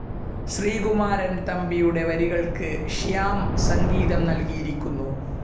ശ്രീകുമാരൻ തമ്പിയുടെ വരികൾക്ക് ശ്യാം സംഗീതം നൽകിയിരിക്കുന്നു..